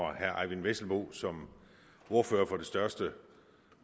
at herre eyvind vesselbo som ordfører for det største